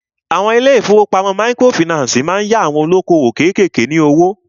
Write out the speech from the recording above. Àwọn ilé ìfọwọ́pamo microfinancii má ń yá àwon olókoòwò kékèké ní owó.